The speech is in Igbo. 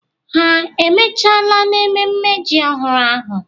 Ha emechala n'ememme ji ọhụrụ ahụ?